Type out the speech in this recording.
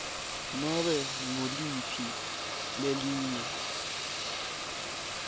nobe nguliphi lelinye